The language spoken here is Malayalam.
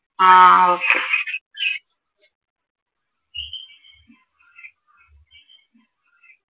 ആഹ് okay